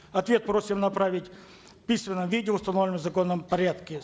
ответ просим направить в письменном виде в установленном законом порядке